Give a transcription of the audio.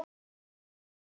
Rúna og Ásgeir.